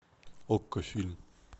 окко фильм